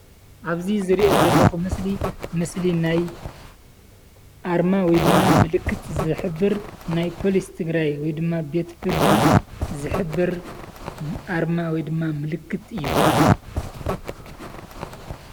ኣብዚ ዝሪኦ ዘለኩ ምስሊ ምስሊ ናይ ኣርማ ወይ ድማ ምልክት ዝሕብር ናይ ፖሊስ ትግራይ ወይድማ ቤት ፍርዲ ዝሕብር ኣርማ ወይድማ ምልክት እዩ።